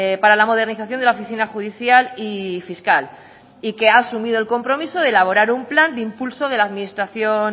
para la modernización de la oficina judicial y fiscal y que ha asumido el compromiso de elaborar un plan de impulso de la administración